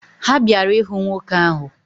Ha bịara ịhụ nwoke ahụ.